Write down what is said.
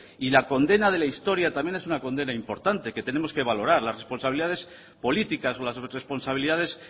y la condena de la historia también es una condena importante que tenemos que valorar las responsabilidades políticas o las responsabilidades